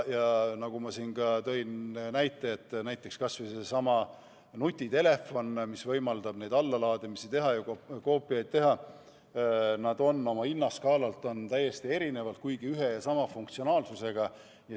Ja nagu ma enne näiteks tõin, siis kas või needsamad nutitelefonid, mis võimaldavad allalaadimisi ja koopiaid teha, on oma hinnaskaalalt täiesti erinevad, kuigi ühe ja sama funktsionaalsusega.